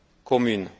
commune.